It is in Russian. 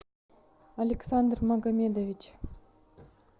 александр магомедович